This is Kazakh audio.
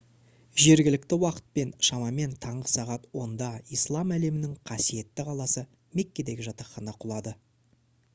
жергілікті уақытпен шамамен таңғы сағат 10-да ислам әлемінің қасиетті қаласы меккедегі жатақхана құлады